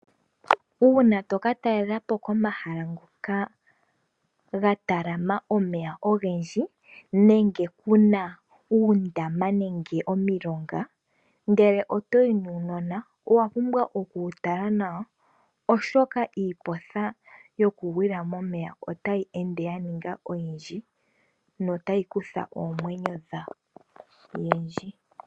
Uuna to ka talelapo komahala ngoka ga talama omeya ogendji, nenge Kuna uundama nenge omilonga, ngele oto yi nuunona, owa pumbwa oku wu tala nawa, oshoka iiporha yo ku gwila momeya ota yi ende ya ninga oyindji, no ya yi kutha oomwenyo dheyendji.